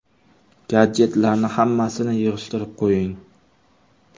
Gadjetlarning hammasini yig‘ishtirib qo‘ying.